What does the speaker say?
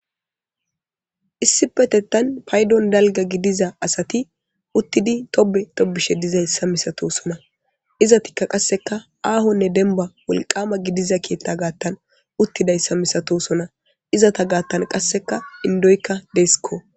Issippeteththan payddon dalgga giidiza asati uuttidi tobbe tobbetishe de'ossona izetti qasseka ahone dembba wolqama keththa gaththan uutidossona izetta gaththan indikka de'essikko.